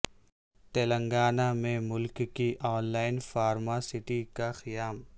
تلنگانہ میں ملک کی اولین فارما سٹی کا قیام